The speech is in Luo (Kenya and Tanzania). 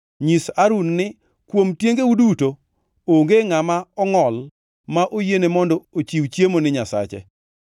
“Nyis Harun ni: ‘Kuom tiengeu duto, onge ngʼama ongʼol ma oyiene mondo ochiw chiemo ni Nyasache.